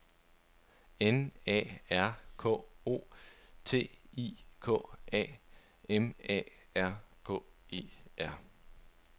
N A R K O T I K A M A R K E R